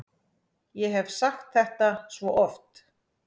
Ég hef sagt þetta svo oft.